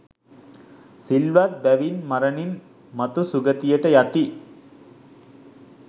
සිල්වත් බැවින් මරණින් මතු සුගතියට යති.